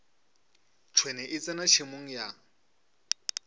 tšhwene e tsena tšhemong ya